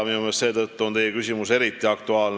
Seetõttu on teie küsimus minu meelest eriti aktuaalne.